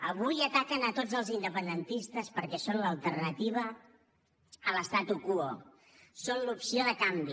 avui ataquen a tots els independentistes perquè són l’alternativa a l’l’opció de canvi